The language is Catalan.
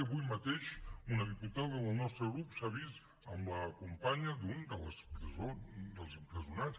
avui mateix una diputada del nostre grup s’ha vist amb la companya d’un dels empresonats